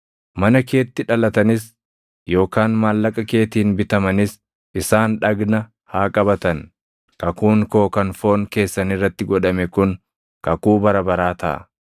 Mana keetti dhalatanis yookaan maallaqa keetiin bitamanis isaan dhagna haa qabatan. Kakuun koo kan foon keessan irratti godhame kun kakuu bara baraa taʼa.